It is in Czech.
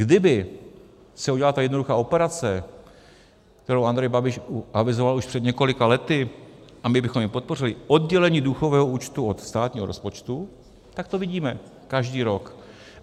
Kdyby se udělala ta jednoduchá operace, kterou Andrej Babiš avizoval už před několika lety, a my bychom ji podpořili, oddělení důchodového účtu od státního rozpočtu, tak to vidíme každý rok.